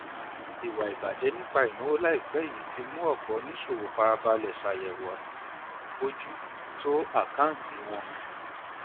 ìwà ìbàjẹ nípa ìnáwó láìpẹ yìí ti mú ọpọ oníṣòwò fara balẹ ṣàyẹwò ọnà bójú tó àkáǹtì wọn